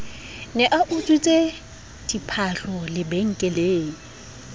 ne a utswitse diphahlo lebenkeleng